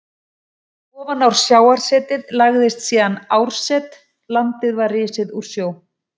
Ofan á sjávarsetið lagðist síðan árset, landið var risið úr sjó.